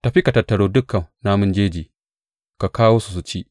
Tafi ka tattaro dukan namun jeji; ka kawo su su ci.